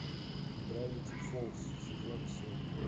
гравити фолз сезон семь